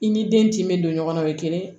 I ni den kin be don ɲɔgɔn na o ye kelen ye